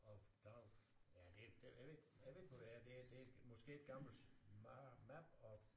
Of doubt ja det jeg ved ikke jeg ved ikke hvor det er det er det er måske et gammelt map of